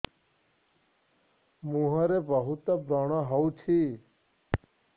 ମୁଁହରେ ବହୁତ ବ୍ରଣ ହଉଛି